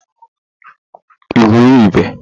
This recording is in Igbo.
igwurube